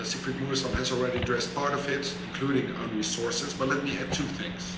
Siegfried Mureşan has already addressed part of it, including own resources, but let me add two things.